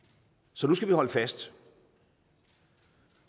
så nu skal vi holde fast